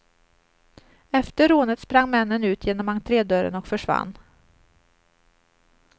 Efter rånet sprang männen ut genom entredörren och försvann.